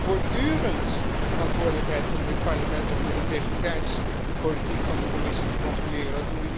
Het is voortdurend de verantwoordelijkheid van dit Parlement om de integriteitspolitiek van de Commissie te controleren.